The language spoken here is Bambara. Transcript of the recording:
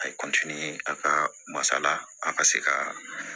A ye a ka masala a ka se ka